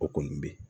O kɔni bɛ ye